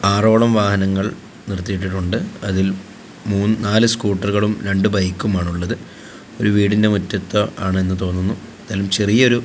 ആറോളം വാഹനങ്ങൾ നിർത്തിയിട്ടുണ്ട് അതിൽ മൂ നാല് സ്കൂട്ടറുകളും രണ്ടു ബൈക്കും ആണുള്ളത് ഒരു വീടിന്റെ മുറ്റത്ത് ആണെന്ന് തോന്നുന്നു എന്തായാലും ചെറിയ ഒരു--